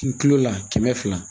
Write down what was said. Kilo la kɛmɛ fila